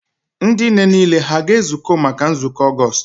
Ndị nne niile ha a ga-ezukọ maka nzukọ Ọgọọst?